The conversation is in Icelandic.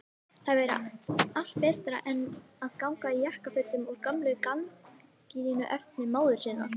Það væri allt betra en að ganga í jakkafötum úr gömlu gardínuefni móður sinnar!